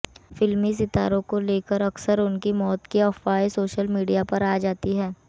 फिल्मी सितारों को लेकर अक्सर उनकी मौत की अफवाहें सोशल मीडिया पर आ जाती हैं